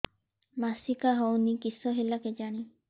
ମାସିକା ହଉନି କିଶ ହେଲା କେଜାଣି